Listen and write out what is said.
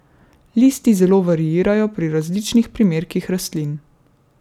Listi zelo variirajo pri različnih primerkih rastlin.